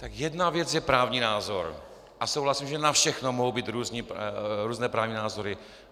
Tak jedna věc je právní názor a souhlasím, že na všechno mohou být různé právní názory.